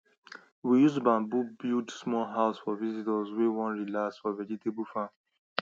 we use bamboo build small house for visitors wey wan relax for vegetable farm